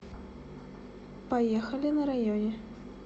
поехали на районе